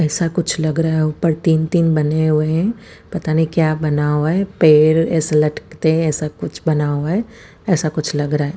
ऐसा कुछ लग रहा है ऊपर तीन तीन बने हुए हैं पता नहीं क्या बना हुआ है पेड़ एस लटकते हैं ऐसा कुछ बना हुआ है ऐसा कुछ लग रहा है।